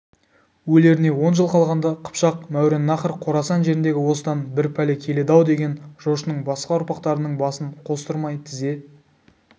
өлеріне он жыл қалғанда қыпшақ мауреннахр қорасан жеріндегі осыдан бір пәле келеді-аудеген жошының басқа ұрпақтарының басын қостырмай тізе